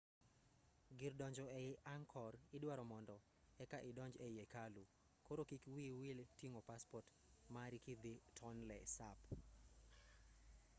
gir donjo ei angkor idwaro mondo eka idonj ei hekalu koro kik wiyi wil ting'o paspot mari kidhii tonle sap